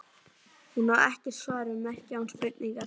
Hún á ekkert svar við merki án spurningar.